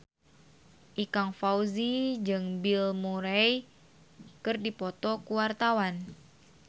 Ikang Fawzi jeung Bill Murray keur dipoto ku wartawan